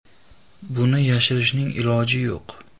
Buni yashirishning iloji yo‘q.